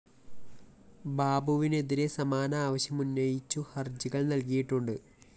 ബാബുവിനെതിരെ സമാന ആവശ്യം ഉന്നയിച്ചു ഹര്‍ജികള്‍ നല്‍കിയിട്ടുണ്ട്